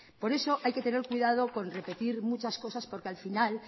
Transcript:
por eso hay que tener cuidado con repetir muchas cosas porque al final